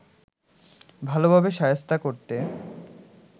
ভালোভাবে শায়েস্তা করতে